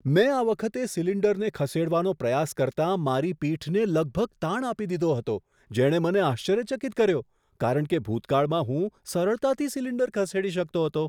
મેં આ વખતે સિલિન્ડરને ખસેડવાનો પ્રયાસ કરતાં મારી પીઠને લગભગ તાણ આપી દીધો હતો, જેણે મને આશ્ચર્યચકિત કર્યો કારણ કે ભૂતકાળમાં હું સરળતાથી સિલિન્ડર ખસેડી શકતો હતો.